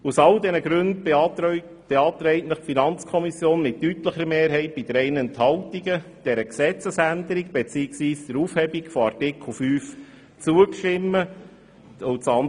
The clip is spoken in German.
Aus all diesen Gründen beantragt Ihnen die FiKo mit deutlicher Mehrheit bei drei Enthaltungen, dieser Gesetzesänderung bzw. der Aufhebung von Artikel 5 zuzustimmen.